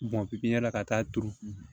Bɔn pipiɲɛri la ka taa turu